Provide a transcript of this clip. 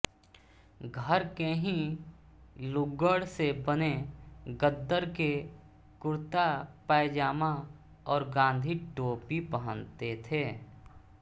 घर के ही लुग्गड़ से बने खद्दर के कुर्त्तापायजामा और गांधी टोपी पहनते थे